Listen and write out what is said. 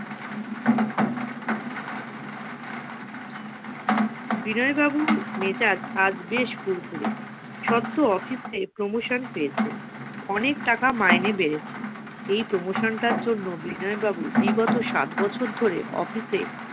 বিনয় বাবুর মেজাজ আজ বেশ ফুরফুরে সদ্য office এ promotion পেয়েছে। অনেক টাকা মাইনে বেড়েছে এই promotion টার জন্য বিনয় বাবু বিগত সাত বছর ধরে office এ